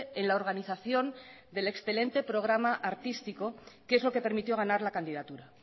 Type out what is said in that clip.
en la organización del excelente programa artístico que es lo que permitió ganar la candidatura